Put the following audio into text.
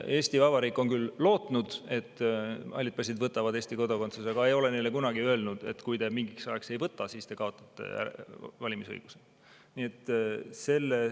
Eesti Vabariik on küll lootnud, et halli passi omanikud võtavad Eesti kodakondsuse, aga me ei ole neile kunagi öelnud, et kui te mingiks ajaks ei võta, siis te kaotate valimisõiguse.